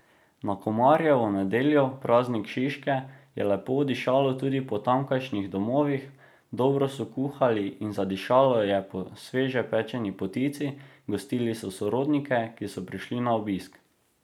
Na Komarjevo nedeljo, praznik Šiške, je lepo dišalo tudi po tamkajšnjih domovih, dobro so kuhali in zadišalo je po sveže pečeni potici, gostili so sorodnike, ki so prišli na obisk.